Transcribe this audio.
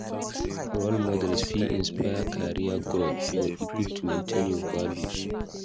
Role models fit inspire career growth, but e good to maintain your values.